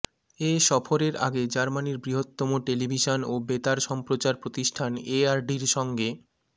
এ সফরের আগে জার্মানির বৃহত্তম টেলিভিশন ও বেতার সম্প্রচার প্রতিষ্ঠান এআরডির সঙ্গে